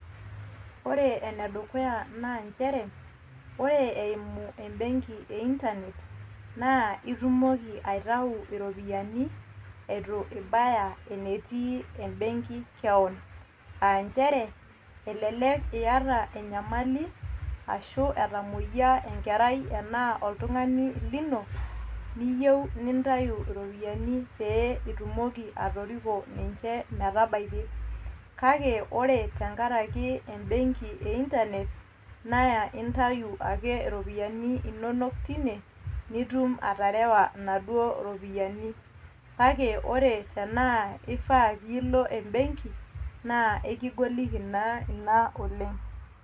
Ore enedukuya naa nchere ore eimu embenki e internet naa itumoki aitau iropiyiani eton itu ibaya enetii embenki kewon, aa nchere elelek iata enyamali arashu etamoyia enkerai taanaa oltungani lino niyou nintau iropiyiani peeitumoki atoriko ninche metabaiki, kake ore tenkaraki embenki e internet naa intau ake iropiyiani inonok teine nitum aterewa naduo ropiyiani ,kake ore tanaa ifaa nilo embenki naa ekigoliki naa ina oleng.